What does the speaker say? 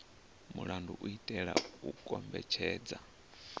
mulandu u itela u kombetshedza